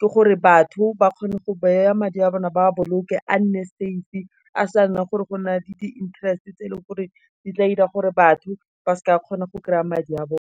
ke gore batho, ba kgone go baya madi a bona ba boloke a nne save-e, a sa nna gore go na le di interest tse e leng gore di tla ira gore batho ba seke ba kgona go kry-a madi a bone.